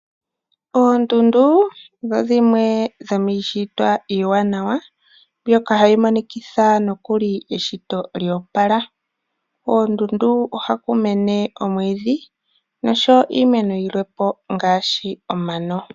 Oondundu odho dhimwe dhimiishitwa iiwanawa , mbyoka hayi monikitha nokuli eshito lyo opala. Koondundu oha ku mene omwiidhi nosho wo iimeno yilwe po, ngaashi omano.